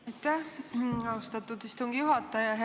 Aitäh, austatud istungi juhataja!